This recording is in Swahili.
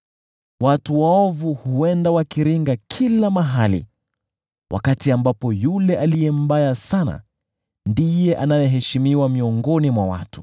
Watu waovu huenda wakiringa kila mahali wakati ambapo yule aliye mbaya sana ndiye anayeheshimiwa miongoni mwa watu.